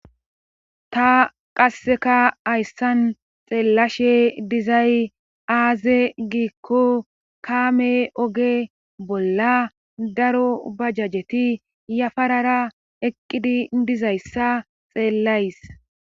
Ta qassekka hayssan xeellashshe dizay aaze giikko kaame oge bolla daro bajajjeti yafarara eqqidi dizayssa xeellays